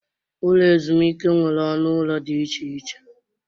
Ụlọ ezumike nwere ọnụ ụlọ dị iche iche.